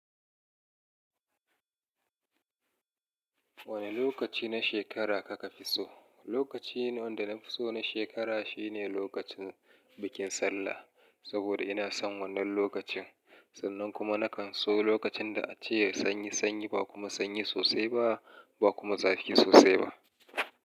Wane lokaci na shekara kaka fi so? Lokaci wanda na fi so na shekara shine lokacin bikin Sallah, saboda ina son wannan lokacin. Sannan kuma na kan so lokacin da a ce sanyi sanyi ba kuma sanyi sosai ba, ba kuma zafi sosai ba.